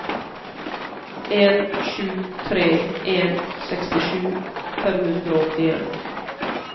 en sju tre en sekstisju fem hundre og åttien